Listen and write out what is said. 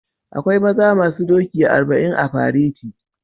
Akwai maza masun doki arban a fereti